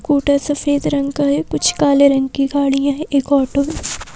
scooter सफेद रंग का है कुछ काले रंग की गाड़ियां हैं एक ऑटो --